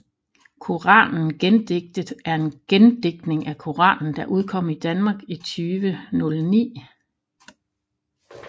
Koranen gendigtet er en gendigtning af Koranen der udkom i Danmark i 2009